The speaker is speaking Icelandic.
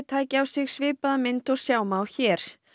tæki á sig svipaða mynd og sjá má hér